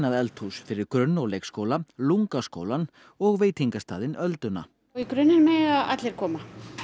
eldhús fyrir grunn og leikskóla LungA skólann og veitingastaðinn ölduna í grunninn mega allir koma